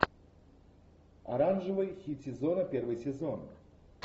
оранжевый хит сезона первый сезон